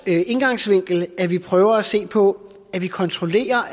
indgangsvinkel at vi prøver at se på at vi kontrollerer